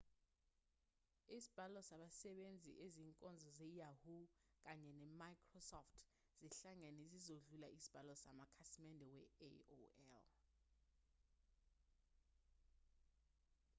isibalo sabasebenzisa izinkonzo ze-yahoo kanye ne-microsoft sihlangene sizodlula isibalo samakhasimende we-aol